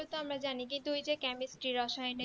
এইগুলো তো আমরা জানি কিন্তু ওই camestre রসায়নে